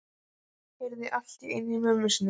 Heyrði allt í einu í mömmu sinni.